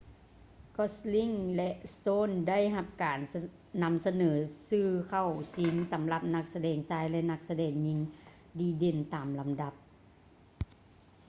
gosling ແລະ stone ໄດ້ຮັບການນໍາສະເໜີຊື່ເຂົ້າຊິງສໍາລັບນັກສະແດງຊາຍ ແລະ ນັກສະແດງຍິງດີເດັ່ນຕາມລຳດັບ